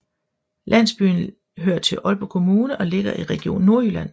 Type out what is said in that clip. Landsbyen hører til Aalborg Kommune og ligger i Region Nordjylland